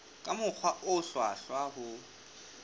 ka mokgwa o hlwahlwa ho